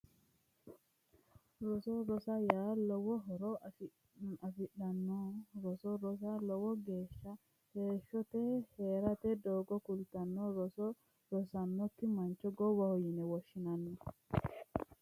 Roso rosoho yaa lowo horo afirinoho roso rosa lowo geeshsha heeshshote heerate doogo kultannote roso rosinokki mancho gowwaho yine woshshinanni